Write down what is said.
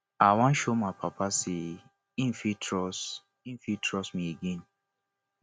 i wan show my papa sey im fit trust im fit trust me again